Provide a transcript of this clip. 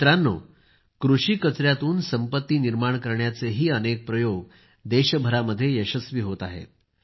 मित्रांनो कृषी कचयातून संपत्ती निर्माण करण्याचेही अनेक प्रयोग देशभरामध्ये यशस्वी होत आहेत